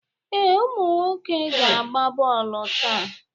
Ee, ụmụ nwoke ga-agba bọọluụ taa.